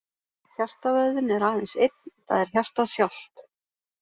Hjartavöðvinn er aðeins einn, það er hjartað sjálft.